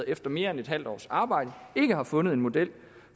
efter mere end et halvt års arbejde ikke har fundet en model